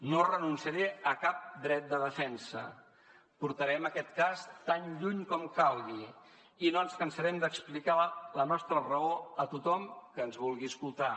no renunciaré a cap dret de defensa portarem aquest cas tan lluny com calgui i no ens cansarem d’explicar la nostra raó a tothom que ens vulgui escoltar